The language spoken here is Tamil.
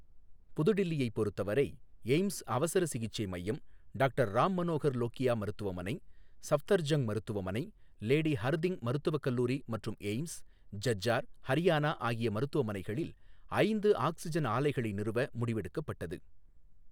புதுடில்லியை பொருத்தவரை, எய்ம்ஸ் அவசர சிகிச்சை மையம், டாக்டர் ராம் மனோகர் லோகியா மருத்துவமனை, சஃப்தர்ஜங்க் மருத்துவமனை, லேடி ஹர்திங் மருத்துவ கல்லூரி மற்றும் எய்ம்ஸ், ஜஜ்ஜார், ஹரியானா ஆகிய மருத்துவமனைகளில் ஐந்து ஆக்சிஜன் ஆலைகளை நிறுவ முடிவெடுக்கப்பட்டது.